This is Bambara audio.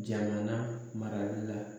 Jamana marali la